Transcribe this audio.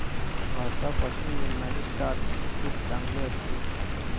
भाता पासून मिळणारे स्टार्च खूप चांगले असते.